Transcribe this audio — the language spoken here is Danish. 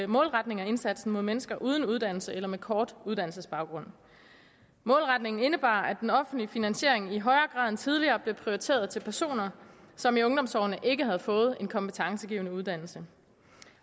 målretning af indsatsen mod mennesker uden uddannelse eller med en kort uddannelsesbaggrund målretningen indebar at den offentlige finansiering i højere grad end tidligere blev prioriteret til personer som i ungdomsårene ikke havde fået en kompetencegivende uddannelse